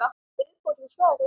Viðbót við svarið